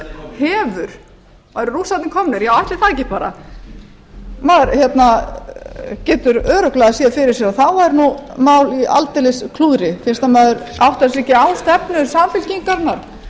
hefur eru rússarnir komnir já ætli það ekki bara maður getur örugglega séð fyrir sér og þá væri nú málið aldeilis í klúðri fyrst að maður áttar sig ekki á stefnu samfylkingarinnar